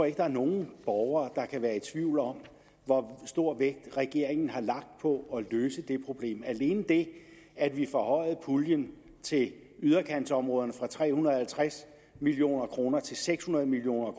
ikke der er nogen borgere der kan være i tvivl om hvor stor vægt regeringen har lagt på at løse det problem alene det at vi forhøjede puljen til yderkantsområderne fra tre hundrede og halvtreds million kroner til seks hundrede million